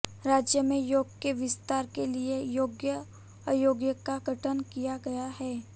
राज्य में योग के विस्तार के लिए योग अयोग का गठन किया गया है